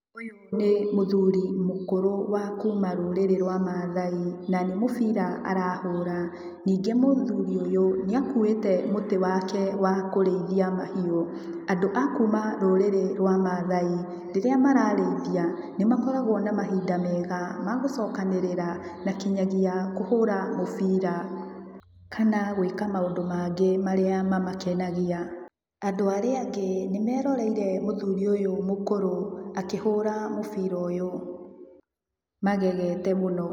Ũyũ nĩ mũthuri mũkũrũ wa kuma rũrĩrĩ rwa Maathai, na nĩ mũbira arahũra. Ningĩ mũthuri ũyũ nĩakuwĩte mũtĩ wake wa kũrĩithia mahiũ. Andũ a kuma rũrĩrĩ rwa Maathai, rĩrĩa mararĩithia, nĩmakoragwo na mahinda mega, magũcokanĩrĩra na kinyagia kũhũra mũbira, kana gwĩka maũndũ mangĩ marĩa mamakenagia. Andũ arĩa angĩ nĩmeroreire mũthuri ũyũ mũkũrũ akĩhũra mũbira ũyũ, magagete mũno.